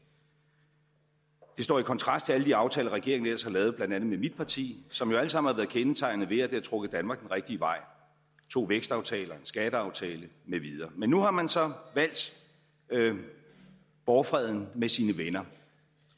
det står i kontrast til alle de aftaler regeringen ellers har lavet med blandt andet mit parti som jo alle sammen har været kendetegnet ved at de har trukket danmark den rigtige vej to vækstaftaler en skatteaftale med videre men nu har man så valgt borgfreden med sine venner